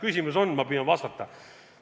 Küsimus on, ma püüan vastata.